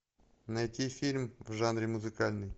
найти фильм в жанре музыкальный